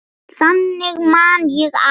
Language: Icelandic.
Þannig man ég afa.